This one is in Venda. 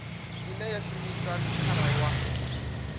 ine ya shumisa mithara wa